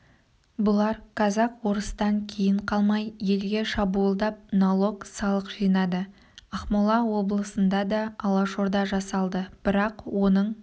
бұлар казак-орыстан кейін қалмай елге шабуылдап налог салық жинады ақмола облысында да алашорда жасалды бірақ оның